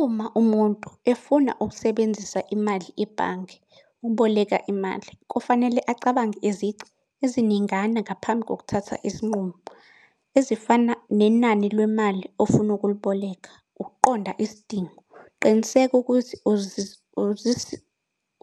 Uma umuntu efuna ukusebenzisa imali ebhange, ukuboleka imali, kufanele acabange izici eziningana ngaphambi kokuthatha isinqumo. Ezifana nenani lemali ofuna ukuliboleka, ukuqonda isidingo. Qiniseka ukuthi